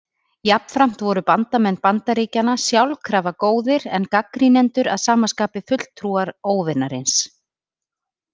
Jafnframt voru bandamenn Bandaríkjanna sjálkrafa góðir en gagnrýnendur að sama skapi fulltrúar óvinarins.